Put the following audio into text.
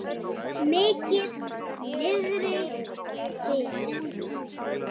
Mikið niðri fyrir.